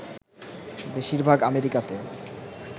বেশীর ভাগ আমেরিকাতে